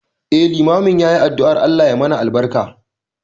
Eh, limamin yayi addu'ar Allah yasa mana albarka.